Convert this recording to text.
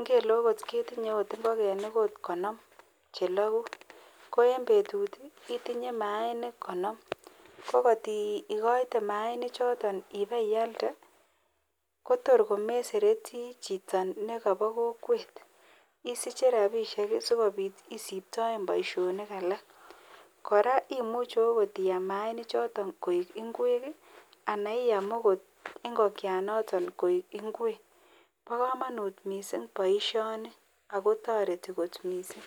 ngele okot ketinye ingogenik chechang okot konom chelagu Koen bebtut itinye Manik konom akotikoite mayainik choton anan iyalde Kotor komesereti Chito nekaba kokwet isiche rabishek sikobit isibtoen Baishonik alak koraa imuche iyam mayainik choton koik ingwek anan ko ingokiet Noto koik bendoba kamanut mising baishoni akotareti kot mising